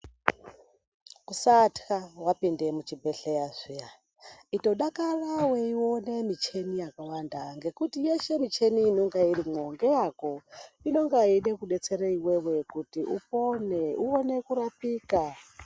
Kusatya wapinda muzvibhedhlera zviya itodakara weiona michini yakawanda ngekuti yeshe michini inenge irimo ngeyako inonga yeida kudetsera iwewe kuti upone uone kurapika.